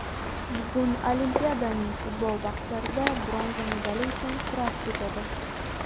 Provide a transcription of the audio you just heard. Bugun Olimpiadaning futbol bahslarida bronza medali uchun kurash kechadi!.